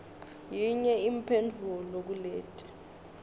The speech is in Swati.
yinye imphendvulo kuleti